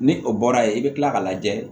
Ni o bɔra yen i bɛ kila ka lajɛ